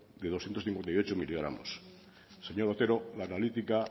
de doscientos cincuenta y ocho miligramos seños otero la analítica